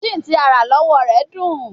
Chinchin ti a ra lọwọ rẹ dun